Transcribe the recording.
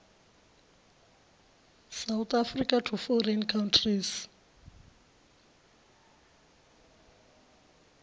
south africa to foreign countries